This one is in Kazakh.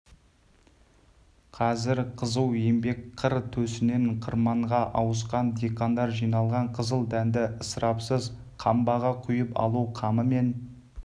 қазір қызу еңбек қыр төсінен қырманға ауысқан диқандар жиналған қызыл дәнді ысырапсыз қамбаға құйып алу қамымен